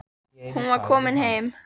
Hún var komin heim.